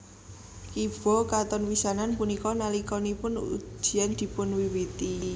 Kiba katon pisanan punika nalikanipun ujian dipunwiwiti